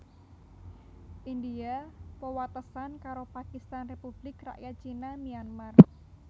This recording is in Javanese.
India wewatesan karo Pakistan Republik Rakyat Cina Myanmar